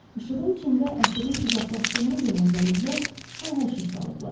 İşığın içində əsirin uzaqlaşdığını görən zəncilər hay-həşir saldılar.